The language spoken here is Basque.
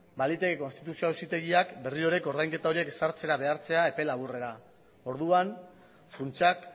baliteke konstituzio auzitegiak berriro ere ordainketa horiek ezartzera behartzea epe laburrera orduan funtsak